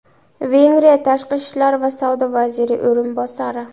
Vengriya Tashqi ishlar va savdo vaziri o‘rinbosari.